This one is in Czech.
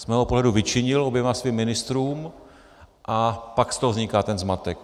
Z mého pohledu vyčinil oběma svým ministrům, a pak z toho vzniká ten zmatek.